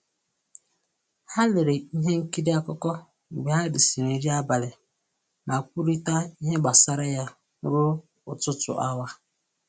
Ha lere ihe nkiri akụkọ mgbe ha risịrị nri abalị ma kwurịta ihe gbasara ya ruo ọtụtụ awa